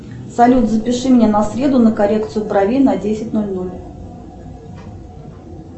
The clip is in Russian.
салют запиши меня на среду на коррекцию бровей на десять ноль ноль